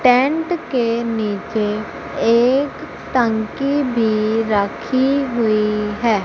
Tent के नीचे एक टंकी भी रखी हुई है।